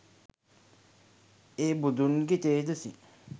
ඒ බුදුන්ගේ තෙජසින්